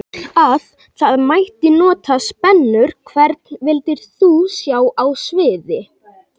Að það mætti nota spennur Hvern vildir þú sjá á sviði?